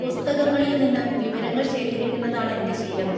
പുസ്തകങ്ങളിൽ നിന്ന് വിവരങ്ങൾ ശേഖരിക്കുന്നതാണെന്‍റെ ശീലവും..